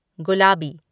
गुलाबी